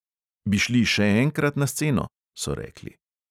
"Bi šli še enkrat na sceno?" so rekli.